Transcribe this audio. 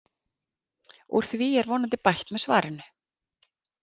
Úr því er vonandi bætt með svarinu.